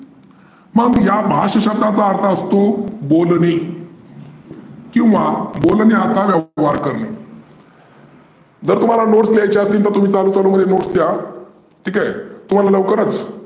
मग या भाष्य या शब्दाचा अर्थ असतो बोलने. किंवा बोलने असा व्यवहार करने. जर तुम्हाला notes लिहायच्या असतील तर तुम्ही चालू चालू मध्ये notes लिहा. ठिक आहे. तुम्हाला लवकरचं